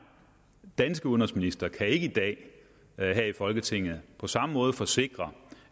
danske udenrigsminister ikke i dag her i folketinget på samme måde kan forsikre